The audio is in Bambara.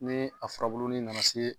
Ni a furabuluni nana se